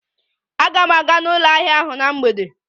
Aga m aga n'ụlọ ahịa ahụ na mgbede.